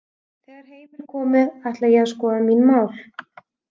Þegar heim er komið ætla ég að skoða mín mál.